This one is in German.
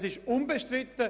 Das ist unbestritten.